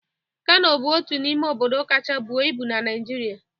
Kano bụ otu n'ime obodo kacha bụo ibu na Naịjirịa